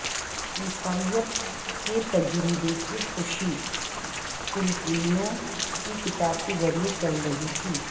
عیسائیت کے تجربے کی خوشی فلپینوں کی کتاب کے ذریعہ چل رہی تھی